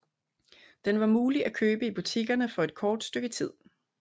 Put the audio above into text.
Den var mulig at købe i butikkerne for et kort stykke tid